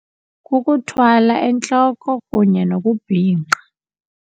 Kukuthwala entloko kunye nokubhinqa.